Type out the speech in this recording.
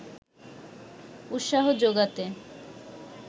উৎসাহ জোগাতে